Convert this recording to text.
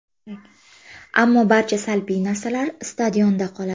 Ammo barcha salbiy narsalar stadionda qoladi.